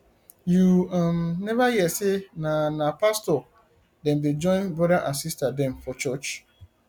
you um neva hear sey na na pastor dem dey join broda and sista dem for church